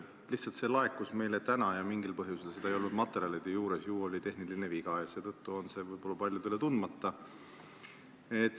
Lihtsalt see laekus meile täna ja mingil põhjusel seda ei olnud materjalide juures – ju see oli tehniline viga – ja seetõttu on see võib-olla paljudele tundmata.